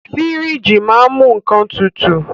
Fíríjì máa ń mú nnkan tutù.